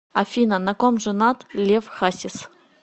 афина на ком женат лев хасис